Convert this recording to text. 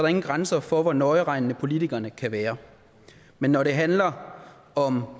ingen grænser for hvor nøjeregnende politikerne kan være men når det handler om